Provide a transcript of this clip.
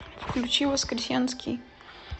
включи воскресенский